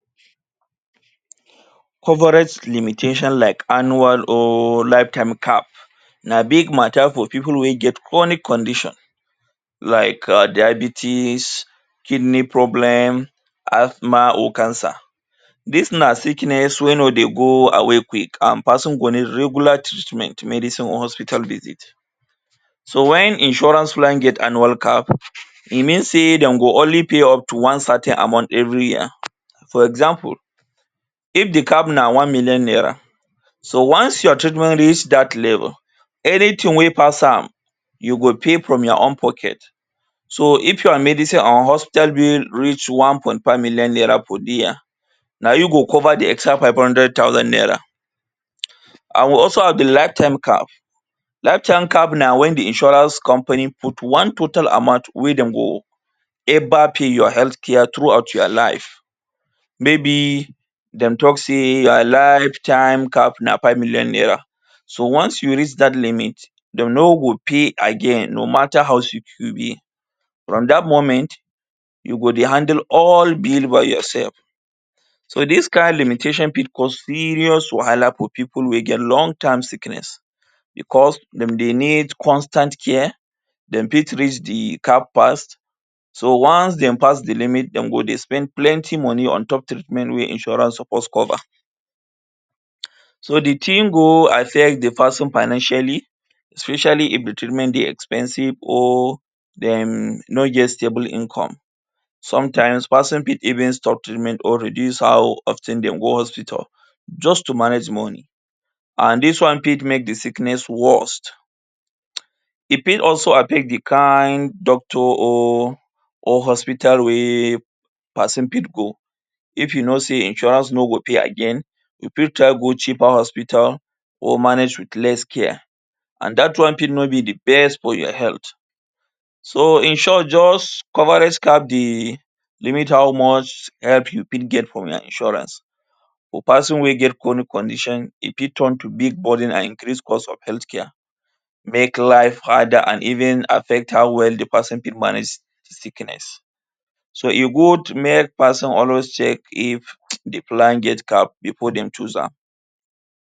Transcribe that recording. Coverlet limitation like annual or life time cap na big matter for pipu wey get chronic condition like um diabetes, kidney problem, asthma or cancer. Dis na sickness wey no dey go away quick and person go need regular treatment, medicine or hospital visit. So when insurance well cap, e mean say dem go only pay up to one certain amount every year. For example, If the cap na one million naira, so once your treatment reach dat level, anything wey pass am, you go pay from your own pocket. So if your medicine or hospital bill reach one point five million naira for dere, na you go cover the extra five hundred naira. um And we also have the life time cap. Life time cap na when the insurance company put one total amount wey dem go help out pay your health care throughout your life. Maybe de talk say your life time cap na five million naira. So once you reach dat limit, dem no go pay again no matter how you fit be. From dat moment, you go dey handle all bills by yourself. So dis kind limitation fit cause serious wahala for pipu wey get long time sickness because dem dey need constant care, dem fit need medical fast. So once they pass the limit, de go dey spend plenty money on top treatment wey insurance suppose cover. um So the thing go affect the pesin financially especially if the treatment dey expensive or dem no get stable income. Sometimes pesin fit even stop treatment or reduce how of ten dem go hospital just to manage money and dis one fit make the sickness worst. um E fit also affect the kind doctor or or hospital wey pesin fit go. if e know sey insurance no go pay again, you fit try go cheaper hospital or manage with less care and dat one fit no be the best for your health. So in short just coverlet cap they limit how much help you fit get from your insurance. For person wey get chronic condition, e fit turn to big burden and great cause of health care. Make life harder and even affect how well the pesin fit manage the sickness. So e good make person always check if um the plan get cap before dem choose am